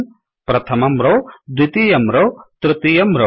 प्रथम्ं रौ द्वितीयं रौतृतीयं रौ